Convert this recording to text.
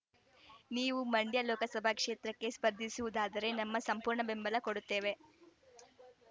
ನೀವು ಮಂಡ್ಯ ಲೋಕಸಭೆ ಕ್ಷೇತ್ರಕ್ಕೆ ಸ್ಪರ್ಧಿಸುವುದಾದರೆ ನಮ್ಮ ಸಂಪೂರ್ಣ ಬೆಂಬಲ ಕೊಡುತ್ತೇವೆ